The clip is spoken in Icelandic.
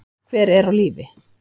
Hver er á lífi?